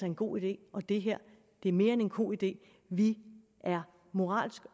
en god idé og det her er mere end en god idé vi er moralsk